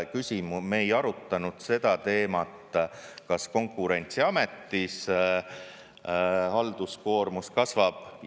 Me ei arutanud seda teemat, kas Konkurentsiametis halduskoormus kasvab.